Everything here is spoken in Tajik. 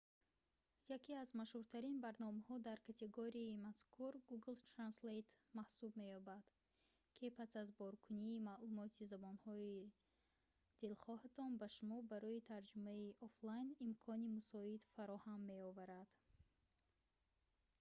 яке аз машҳуртарин барномаҳо дар категорияи мазкур google translate маҳсуб меёбад ки пас аз боркунии маълумоти забонҳои дилхоҳатон ба шумо барои тарҷумаи офлайн имкони мусоид фароҳам меоварад